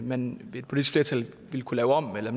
man ved et politisk flertal ville kunne lave om eller